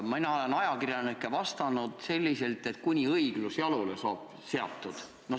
Mina olen ajakirjanikele vastanud selliselt, et kuni õiglus jalule saab seatud.